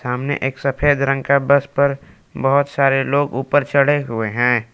हमने एक सफेद रंग का बस पर बहोत सारे लोग ऊपर चढ़े हुए हैं।